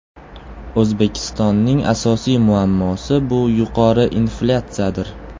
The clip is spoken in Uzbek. O‘zbekistonning asosiy muammosi bu yuqori inflyatsiyadir.